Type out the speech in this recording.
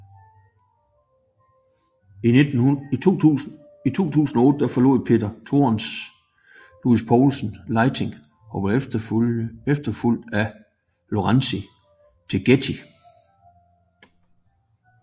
I 2008 forlod Peter Thorsen Louis Poulsen Lighting og blev efterfulgt af Lorenzo Targetti